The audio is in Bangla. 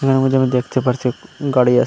আমি যেমন দেখতে পারছি গাড়ি আছে।